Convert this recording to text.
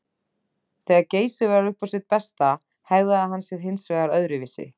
Þegar Geysir var upp á sitt besta hegðaði hann sér hins vegar öðruvísi.